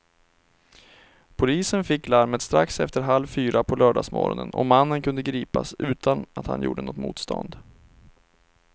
Polisen fick larmet strax efter halv fyra på lördagsmorgonen och mannen kunde gripas utan att han gjorde något motstånd.